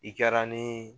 I kɛra ni